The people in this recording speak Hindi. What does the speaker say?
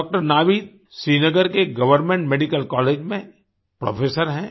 डॉक्टर नावीद श्रीनगर के एक गवर्नमेंट मेडिकल कॉलेज में प्रोफेसर हैं